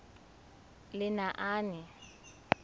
lenaane